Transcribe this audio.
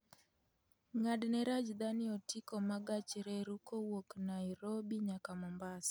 ng'adne rajdhani otiko ma gach reru kowuok nairobi nyaka mombasa